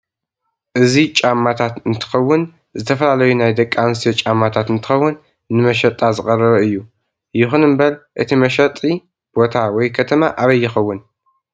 አዚ ጫማታት እንትከውን ዝተፋላለዩ ናይ ደቂ አንስትዮ ጫማታተ እንትከውን ንመሸጣ ዝቀረበ እዩ የኩን እበር እቲ መሸጥ ቦታ ወይ ከተማ አበይ ይከውን?